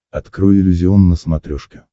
открой иллюзион на смотрешке